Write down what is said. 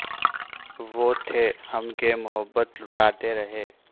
وہ تھے ہم کہ محبت لٹاتے رہے